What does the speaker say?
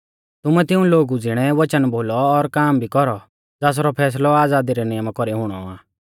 तुमै तिऊं लोगु ज़िणै वचन बोलौ और काम भी कौरौ ज़ासरौ फैसलौ आज़ादी रै नियमा कौरी हुणौ आ